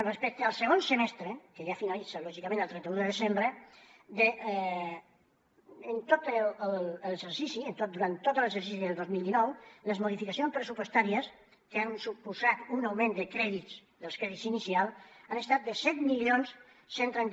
respecte al segon semestre que ja finalitza lògicament el trenta un de desembre en tot l’exercici durant tot l’exercici del dos mil dinou les modificacions pressupostàries que han suposat un augment de crèdits dels crèdits inicials han estat de set mil cent i trenta